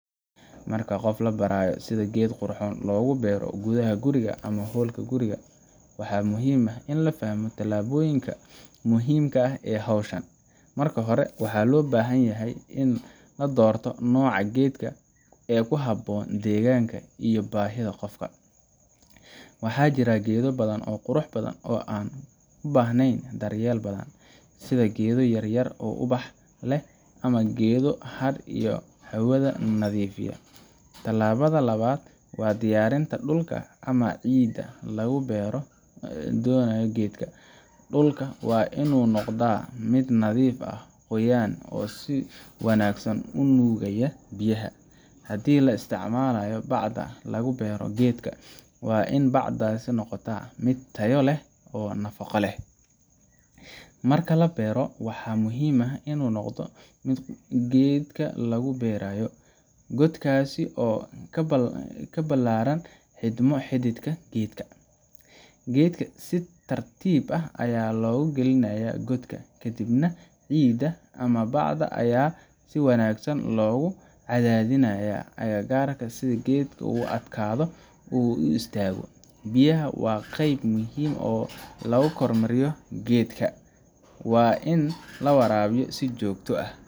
Marka qof la barayo sida geed qurxoon loogu beero gudaha guriga ama hoolka guriga, waxa muhiim ah in la fahmo tallaabooyinka muhiimka ah ee hawshan. Marka hore, waxaa loo baahan yahay in la doorto nooca geedka ee ku habboon deegaanka iyo baahida qofka. Waxaa jira geedo badan oo qurux badan oo aan u baahnayn daryeel badan, sida geedo yar yar oo ubax leh ama geedo hadh iyo hawada nadiifiya. Tallaabada labaad waa diyaarinta dhulka ama ciidda lagu beeri doono geedka. Dhulka waa inuu noqdaa mid nadiif ah, qoyan, oo si wanaagsan u nuugaya biyaha. Haddii la isticmaalayo bacda lagu beero geedka, waa in bacdaas noqotaa mid tayo leh oo nafaqo leh. Marka la beero, waxaa muhiim ah inuu noqdo godka geedka lagu beerayo, godkaas oo ka balaadhan xidhmo xididka geedka. Geedka si tartiib ah ayaa loogu gelinayaa godka, kadibna ciidda ama bacda ayaa si wanaagsan loogu cadaadinayaa agagaarka si geedku u adkaado oo u istaago. Biyaha waa qayb muhiim ah oo lagu kormeero geedka. Waa in la waraabiyaa si joogto ah,